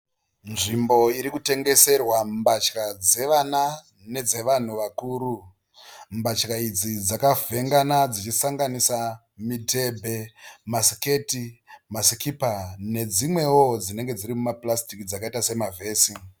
Nzvimbo iri kutengeserwa mbatya dzevana nedze vanhu vakuru. Mbatya idzi dzakavhengana dzichisanganisa midhebhe, masiketi, masikipa nedzimwewo dzinenge dziri muma purasitiki dzakaita sema vhesi.